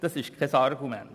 Das ist kein Argument.